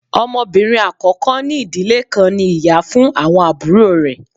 Ọmọbinrin akọkọ ni idile kan ní ìyá fun awọn aburo rẹ